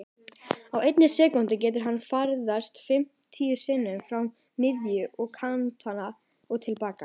Á einni sekúndu getur hann ferðast fimmtíu sinnum frá miðju, að kantinum og til baka.